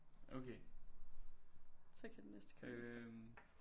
Okay øh